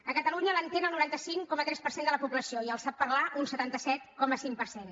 a catalunya l’entén el noranta cinc coma tres per cent de la població i el sap parlar un setanta set coma cinc per cent